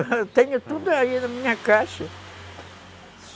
Eu tenho tudo aí na minha caixa